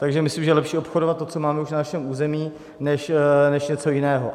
Takže myslím, že je lepší obchodovat to, co máme už na našem území, než něco jiného.